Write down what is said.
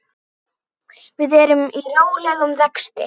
Við erum í rólegum vexti.